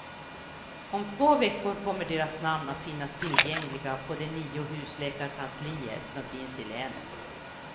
Om två veckor kommer deras namn att finnas tillgängliga på de nio husläkarkanslier som finns i länet.